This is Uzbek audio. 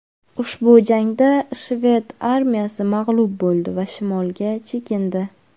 Ushbu jangda shved armiyasi mag‘lub bo‘ldi va shimolga chekindi.